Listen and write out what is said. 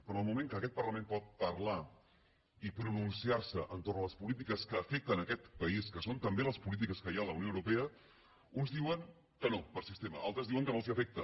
però en el moment que aquest parlament pot parlar i pronunciar se entorn a les polítiques que afecten aquest país que són també les polítiques que hi ha a la unió europea uns diuen que no per sistema altres diuen que no els afecta